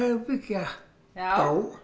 byggja já